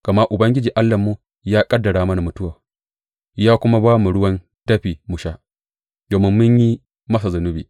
Gama Ubangiji Allahnmu ya ƙaddara mana mutuwa ya kuma ba mu ruwan dafi mu sha, domin mun yi masa zunubi.